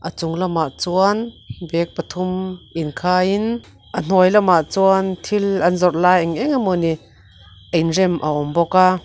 a chung lamah chuan bag pathum inkhaiin a hnuai lamah chuan thil an zawrh lai eng eng emaw ni inrem a awm bawk a.